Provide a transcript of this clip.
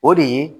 O de ye